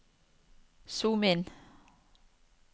zoom inn